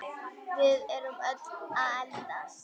Við erum öll að eldast.